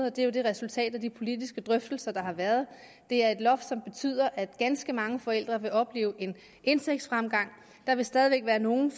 og det er jo resultatet af de politiske drøftelser der har været det er et loft som betyder at ganske mange forældre vil opleve en indtægtsfremgang der vil stadig væk være nogle